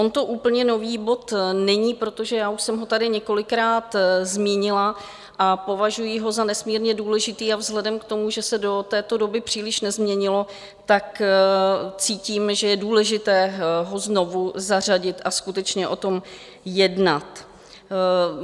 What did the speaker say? On to úplně nový bod není, protože já už jsem ho tady několikrát zmínila a považuji ho za nesmírně důležitý a vzhledem k tomu, že se do této doby příliš nezměnilo, tak cítím, že je důležité ho znovu zařadit a skutečně o tom jednat.